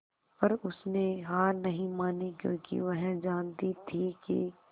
पर उसने हार नहीं मानी क्योंकि वह जानती थी कि